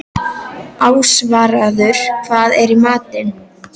Ásvarður, hvað er í matinn?